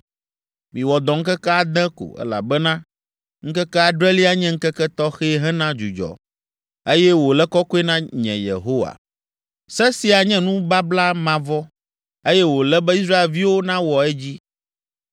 Miwɔ dɔ ŋkeke ade ko, elabena ŋkeke adrelia nye ŋkeke tɔxɛ hena dzudzɔ, eye wòle kɔkɔe na nye Yehowa. Se sia nye nubabla mavɔ, eye wòle be Israelviwo nawɔ edzi.